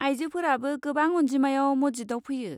आइजोफोराबो गोबां अन्जिमायाव मस्जिदाव फैयो।